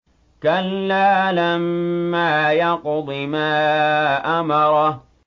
كَلَّا لَمَّا يَقْضِ مَا أَمَرَهُ